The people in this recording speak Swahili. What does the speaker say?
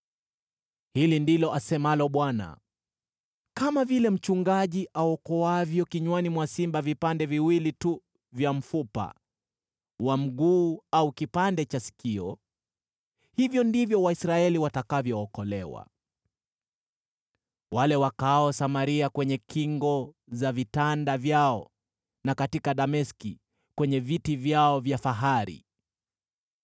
Hili ndilo asemalo Bwana : “Kama vile mchungaji aokoavyo kinywani mwa simba vipande viwili tu vya mfupa wa mguu au kipande cha sikio, hivyo ndivyo Waisraeli watakavyookolewa, wale wakaao Samaria kwenye kingo za vitanda vyao, na katika Dameski kwenye viti vyao vya fahari.”